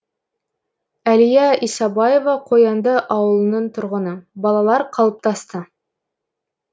әлия исабаева қоянды ауылының тұрғыны балалар қалыптасты